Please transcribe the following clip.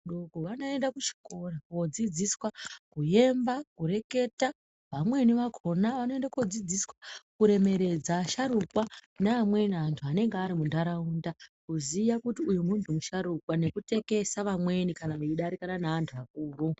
Wakaenda kuchikoro kodzidziswa kuyemba kureketa vamweni vakhona vanoende kodzidziswa kuremeredza asharukwa neamweni antu anenga ari muntaraunda kuziya kuti uyu muntu musharukwa nekutekesa vamweni kana veidarikana naantu.